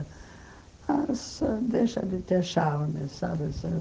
Mas ãh deixa de ter charme, sabe assim?